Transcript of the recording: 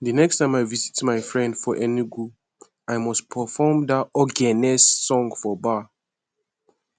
the next time i visit my friend for enugu i must perform that ogene song for bar